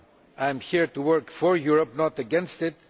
I am here to work for Europe, not against it.